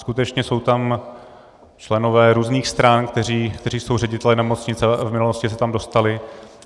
Skutečně jsou tam členové různých stran, kteří jsou řediteli nemocnice, v minulosti se tam dostali.